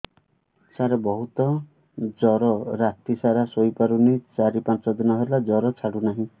ସାର ବହୁତ ଜର ରାତି ସାରା ଶୋଇପାରୁନି ଚାରି ପାଞ୍ଚ ଦିନ ହେଲା ଜର ଛାଡ଼ୁ ନାହିଁ